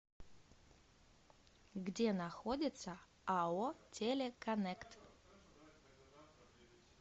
где находится ао телеконнект